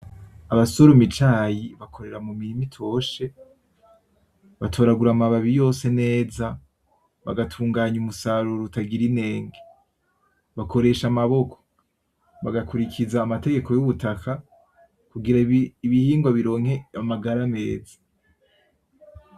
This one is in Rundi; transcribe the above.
Abasoroma icayi bakorera mumirima itoshe. Batoragura amababi yose neza bagatunganya umusaruro utagira intenge. Bakoresha amaboko, bagakurikiza amategeko yubutaka kugira ibihingwa bironke amagara meza.